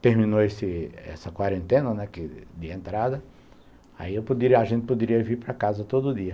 terminou esse essa quarentena, né, de entrada, aí a gente poderia vir para casa todo dia.